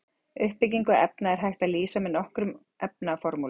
Uppbyggingu efna er hægt að lýsa með nokkrum efnaformúlum.